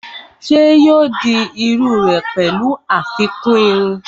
Ṣé yóò di iru rẹ̀ pẹ̀lú àfikún irun?